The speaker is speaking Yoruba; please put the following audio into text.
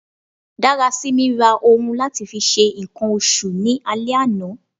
Darasimi ra ohun lati fi ṣe nkan oṣù ni ale ana